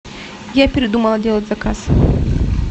я передумала делать заказ